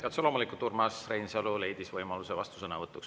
Ja otse loomulikult, Urmas Reinsalu leidis võimaluse vastusõnavõtuks.